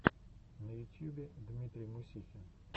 на ютьюбе дмитрий мусихин